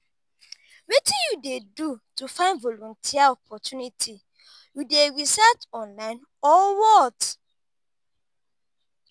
wetin you dey do to find volunteer opportunity you dey research online or what?